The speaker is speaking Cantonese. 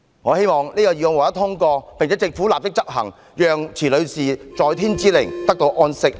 我希望議案獲得通過，並且，政府立即推行相關政策，讓池女士在天之靈得到安息。